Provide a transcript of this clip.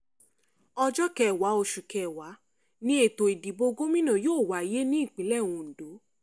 ọjọ́ kẹwàá oṣù kẹwàá ni ètò ìdìbò gómìnà yóò wáyé nípínlẹ̀ ondo